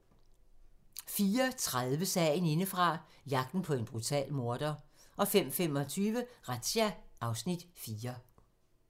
04:30: Sagen indefra - jagten på en brutal morder 05:25: Razzia (Afs. 4)